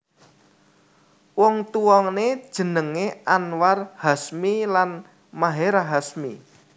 Wong tuwané jenengé Anwar Hashmi lan Maherahh Hasmi